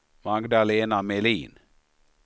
Magdalena Melin